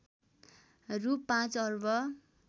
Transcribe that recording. रु ५ अर्ब